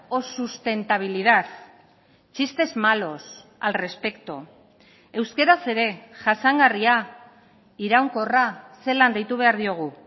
o sustentabilidad chistes malos al respecto euskaraz ere jasangarria iraunkorra zelan deitu behar diogu